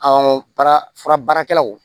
baara fura baarakɛlaw